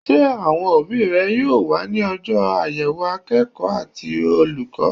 Sé àwon òbí re yóò wá ní ojó àyèwò akéèkó àti olùkó?